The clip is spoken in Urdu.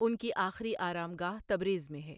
ان کی آخری آرم گاه تبریز میں ہے۔